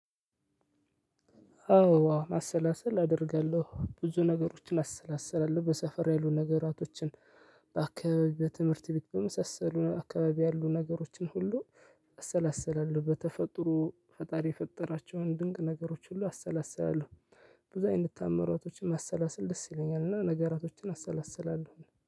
አዎ ማሰላሰል አደርጋለሁ ብዙ ነገሮችን አሰላስላለሁ በሰፈር ያሉ ነገራቶችን በአከባቢ በትምህርት ቤት በመሰሰሉ አከባቢ ያሉ ነገሮችን ሁሉ አሰላስላለሁ በተፈጥሮ ፈጣሪ የፈጠራቸውን ድንቅ ነገሮች ሁሉ አሰላስላለሁ። ብዙ አይነት ታምራቶችን ማሰላሰል ደስ ይለኛል። እና ነገራቶችን አሰላስላለሁ